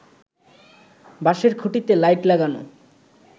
বাঁশের খুঁটিতে লাইট লাগানো